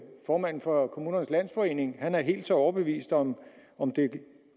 formanden for kommunernes landsforening er helt så overbevist om om det